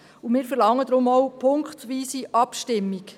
Deshalb verlangen wir auch punktweise Abstimmung.